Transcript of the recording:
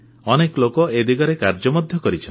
ଅନେକ ଲୋକ ଏହି ଦିଗରେ କାର୍ଯ୍ୟ ମଧ୍ୟ କରିଛନ୍ତି